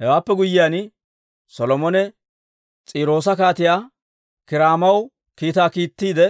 Hewaappe guyyiyaan, Solomone S'iiroosa Kaatiyaa Kiiraamaw kiitaa kiittiide,